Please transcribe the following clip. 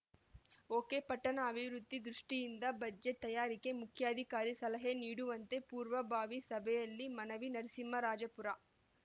ಒಕೆಪಟ್ಟಣ ಅಭಿವೃದ್ಧಿ ದೃಷ್ಟಿಯಿಂದ ಬಜೆಟ್‌ ತಯಾರಿಕೆ ಮುಖ್ಯಾಧಿಕಾರಿ ಸಲಹೆ ನೀಡುವಂತೆ ಪೂರ್ವಭಾವಿ ಸಭೆಯಲ್ಲಿ ಮನವಿ ನರಸಿಂಹರಾಜಪುರ